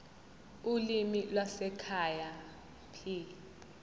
ulimi lwasekhaya p